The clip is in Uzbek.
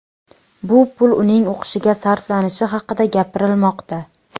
Bu pul uning o‘qishiga sarflanishi haqida gapirilmoqda.